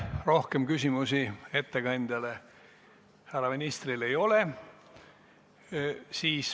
Rohkem küsimusi ettekandjale, härra ministrile ei ole.